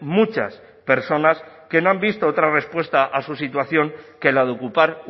muchas personas que no han visto otra respuesta a su situación que la de ocupar